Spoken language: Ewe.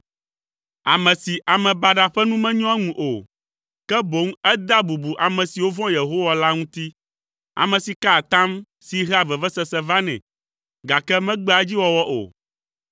ame si ame baɖa ƒe nu menyoa eŋu o, ke boŋ edea bubu ame siwo vɔ̃a Yehowa la ŋuti, ame si kaa atam si hea vevesese vanɛ, gake megbea edziwɔwɔ o,